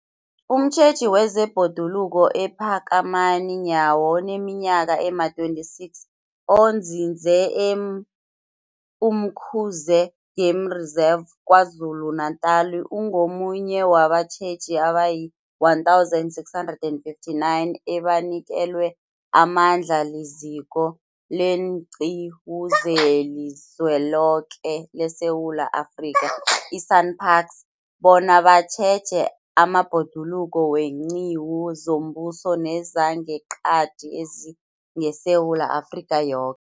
Umtjheji wezeBhoduluko uPhakamani Nyawo oneminyaka ema-26, onzinze e-Umkhuze Game Reserve KwaZulu-Natala, ungomunye wabatjheji abayi-1 659 abanikelwe amandla liZiko leenQiwu zeliZweloke leSewula Afrika, i-SANParks, bona batjheje amabhoduluko weenqiwu zombuso nezangeqadi ezingeSewula Afrika yoke.